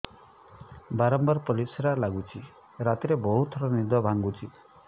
ବାରମ୍ବାର ପରିଶ୍ରା ଲାଗୁଚି ରାତିରେ ବହୁତ ଥର ନିଦ ଭାଙ୍ଗୁଛି